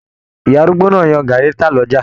Ìyá arúgbó náà n yan gàárí tá l'ọja.